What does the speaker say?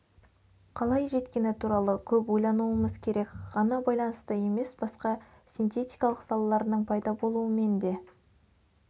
қалай жеткені туралы көп ойлануымыз керек ғана байланысты емес басқа синтетикалық салаларының пайда болуымен де